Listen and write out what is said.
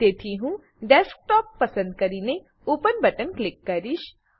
તેથી હું ડેસ્કટોપ પસંદ કરીને ઓપન બટન પર ક્લિક કરીશ